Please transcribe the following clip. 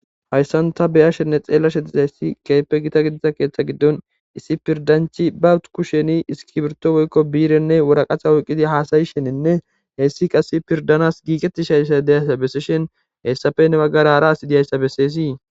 hayssanta beyashenne xeella shedizhayssi keepe gita gidiza keeththa giddon issi pirdanchi bawut kusheni iski birto woykko biirenne woraqaha oyqqidi haasayisheninne heessi qass pirdanas giiqetti shayssa deyayssa bessishen heessafenne baggarara asidiyayssa besseesii